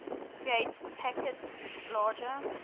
create packets larger